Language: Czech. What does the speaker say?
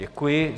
Děkuji.